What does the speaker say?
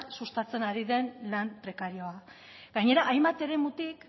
sustatzen ari den lan prekarioa gainera hainbat eremutik